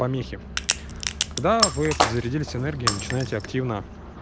помехи когда вы подзарядились энергией начинаете активно